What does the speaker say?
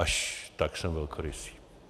Až tak jsem velkorysý.